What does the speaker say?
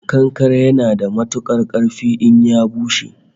Kankare yana da matukar karfi in ya bushe